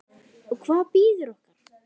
Og hvað bíður okkar?